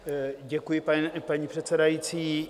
Děkuji, paní předsedající.